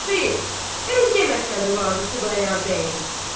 Xeyr, özgə mətləbi vardı Xudayar bəyin.